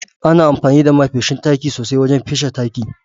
Ana amfani da ma feshin taki sosai wajen fesa taki.